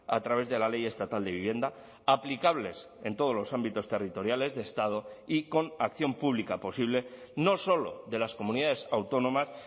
a través de la ley estatal de vivienda aplicables en todos los ámbitos territoriales de estado y con acción pública posible no solo de las comunidades autónomas